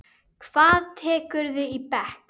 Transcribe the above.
Hvað tekurðu í bekk?